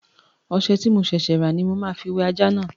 Ọṣẹ tí mo ṣẹ̀ṣẹ̀ rà ní mo ma fi wẹ ajá náà